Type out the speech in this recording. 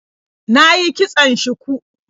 Na yi kitson shuku.